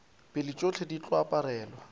pele tšohle di tlo aparelwa